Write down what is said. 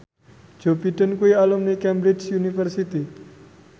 Joe Biden kuwi alumni Cambridge University